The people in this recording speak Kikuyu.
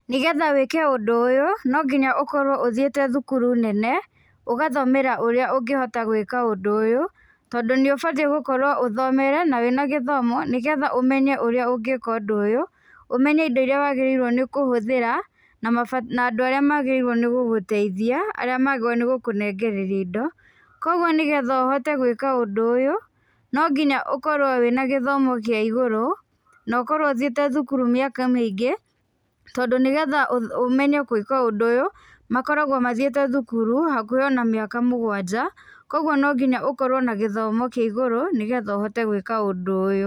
Nĩgetha wĩke ũndũ ũyũ no nginya ũkorwo ũthiĩte thukuru nene, ũgathomera ũrĩa ũngĩhota gwĩka ũndũ ũyũ. Tondũ nĩũbatie gũkorwo ũthomeire na wĩ na gĩthomo, nĩgetha ũmenye ũrĩa ũngĩka ũndũ ũyũ, ũmenye indo irĩa wagĩrĩirwo nĩ kũhũthĩra na andũ arĩa magĩrĩirwo gũgũteithia na arĩa magĩrĩirwo gũkũnengereria indo. Koguo nĩgetha ũhote gwĩka ũndũ ũyũ no nginya ũkorwo wĩ na gĩthomo kĩa igũrũ, na ũkorwo ũthiĩte thukuru mĩaka mĩingĩ, tondũ nĩgetha ũmenye gwĩka ũndũ ũyũ, makoragwo mathiĩte thukuru hakuhĩ ona mĩaka mũgwanja, koguo no nginya ũkorwo na gĩthomo kia igũrũ, nĩgetha ũhote gwĩka ũndũ ũyũ.